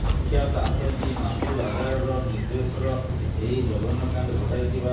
କୁଖ୍ୟାତ ଆତଙ୍କୀ ମାସୁଦ ଆଝାରର ନିର୍ଦ୍ଦେଶର ଏହି ଜଘନ୍ୟକାଣ୍ଡ ଘଟାଇଥିବା